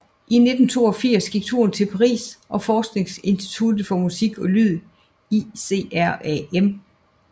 I 1982 gik turen til Paris og forskningsinstituttet for musik og lyd ICRAM